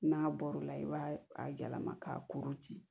N'a bɔr'o la i b'a a yɛlɛma ka kuru ci